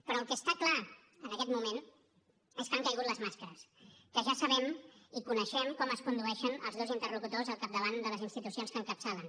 però el que està clar en aquest moment és que han caigut les màscares que ja sabem i coneixem com es condueixen els dos interlocutors al capdavant de les institucions que encapçalen